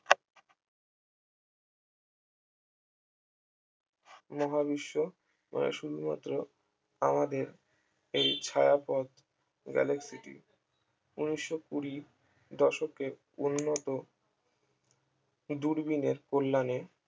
মহাবিশ্ব মানে শুধুমাত্র আমাদের এই ছায়াপথ galaxy টি উনিশশো কুরি দশককে উন্নত দূরবীনের কল্যাণে